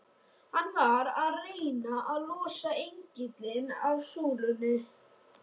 Hann var að reyna að losa engilinn af súlunni!